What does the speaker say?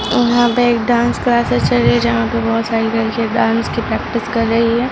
और यहां पे एक डांस क्लासेस चल रही है जहां पर बहुत सारी लड़कियां डांस की प्रैक्टीस कर रही है।